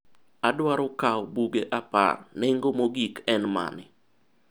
adwaro kawo buge apar, nengo mogik en mane?